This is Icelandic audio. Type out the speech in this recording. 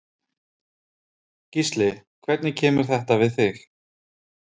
Gísli: Hvernig kemur þetta við þig?